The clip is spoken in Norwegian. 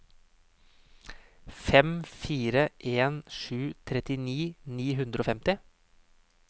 fem fire en sju trettini ni hundre og femti